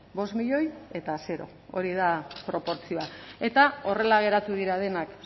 bost milioi eta zero hori da proportzioa eta horrela geratu dira denak